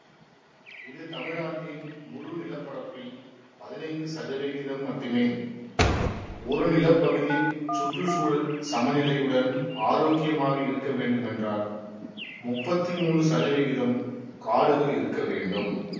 இது தமிழ்நாட்டின் முழுநிலப்பரப்பில் பதினைந்து சதவிகிதம் மட்டுமே ஒரு நிலப்பகுதி சுற்று சூழல் சமநிலையுடன் ஆரோக்கியமாக இருக்க வேண்டுமென்றால் முப்பத்தி மூனு சதவிகிதம் காடுகள் இருக்க வேண்டும்